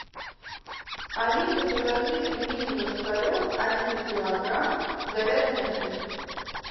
алиса закажи пельмени ложкарев один килограмм с говяжьей начинкой